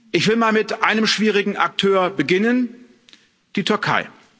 Ich will mal mit einem schwierigen Akteur beginnen der Türkei.